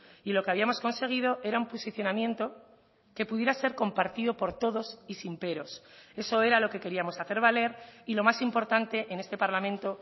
y lo que habíamos conseguido era un posicionamiento que pudiera ser compartido por todos y sin peros eso era lo que queríamos hacer valer y lo más importante en este parlamento